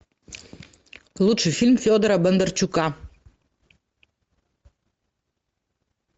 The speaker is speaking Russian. лучший фильм федора бондарчука